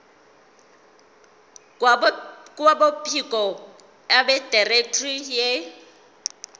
kwabophiko abedirectorate ye